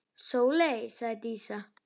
Sóley, sagði Dísa.